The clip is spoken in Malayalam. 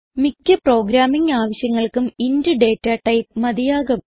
മിക്ക്യ പ്രോഗ്രാമിംഗ് ആവശ്യങ്ങൾക്കും ഇന്റ് ഡേറ്റ ടൈപ്പ് മതിയാകും